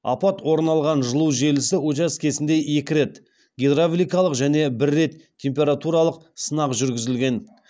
апат орын алған жылу желісі учаскесінде екі рет гидравликалық және бір рет температуралық сынақ жүргізілген